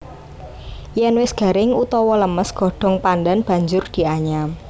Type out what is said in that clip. Yen wis garing utawa lemes godhong pandhan banjur dianyam